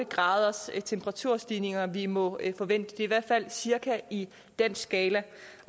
graders temperaturstigninger vi må forvente det er i hvert fald cirka i den skala